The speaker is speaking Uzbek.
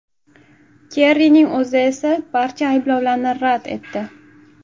Kerrining o‘zi esa barcha ayblovlarni rad etdi.